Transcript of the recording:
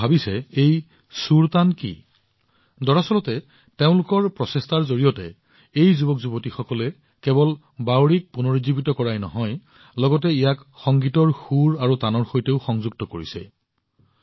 আপুনি হয়তো ভাবিছে এই সুৰতান কি দৰাচলতে তেওঁলোকৰ প্ৰচেষ্টাৰ দ্বাৰা এই যুৱকযুৱতীসকলে কেৱল এই বাৱড়ীক পুনৰুজ্জীৱিত কৰাই নহয় লগতে ইয়াক সংগীতৰ সুৰ আৰু চন্দৰ সৈতেও সংযুক্ত কৰিছে